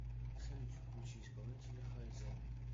салют включи исполнителя хайзен